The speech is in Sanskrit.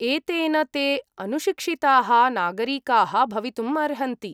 एतेन ते अनुशिक्षिताः नागरिकाः भवितुम् अर्हन्ति।